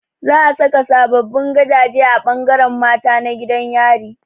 Zaa saka sababbin gabaje a ɓangaren mata na gidan yari